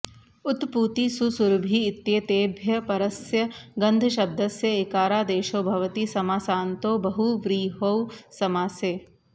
उत् पूति सु सुरभि इत्येतेभ्यः परस्य गन्धशब्दस्य इकारादेशो भवति समासान्तो बहुव्रीहौ समासे